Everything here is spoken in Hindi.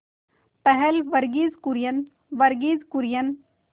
पहल वर्गीज कुरियन वर्गीज कुरियन